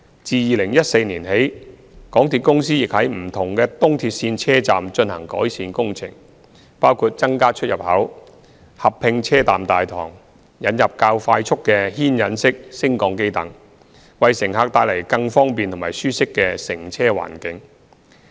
自2014年起，港鐵公司亦在不同的東鐵線車站進行改善工程，包括增加出入口，合併車站大堂，引入較快速的牽引式升降機等，為乘客帶來更方便及舒適的乘車環境。